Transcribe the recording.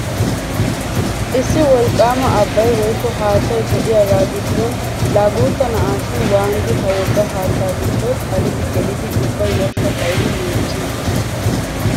Issi wolqqaama abbay woykko haattay de'iyagaa giddon laa guutta na'aashin waanidi ha wogga haattaa giddo xalidi gelidi ubba yashshaa xayidi miiccii!